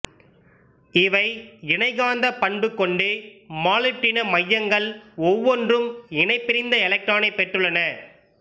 இவை இணைகாந்தப் பண்பு கொண்டு மாலிப்டின மையங்கள் ஒவ்வொன்றும் இணைபிரிந்த எலக்டரானைப் பெற்றுள்ளன